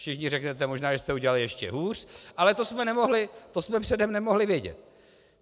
Všichni řeknete, možná že jste udělali ještě hůř, ale to jsme předem nemohli vědět.